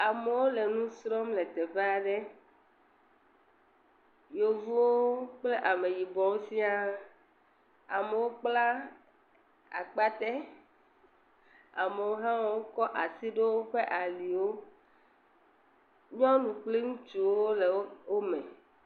Amewo le nu srɔ̃m le teƒe aɖe yevuwo kple ameyibɔwo siaa. Amewo kpla akpate, amewo hã kɔ asi ɖo aliwo, nyɔnuwo kple ŋutsuwo le wo me.